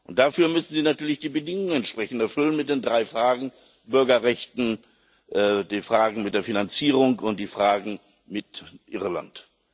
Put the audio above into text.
Und dafür müssen sie natürlich die Bedingungen entsprechend erfüllen mit den drei Fragen Bürgerrechte, die Fragen mit der Finanzierung und die Fragen mit Irland.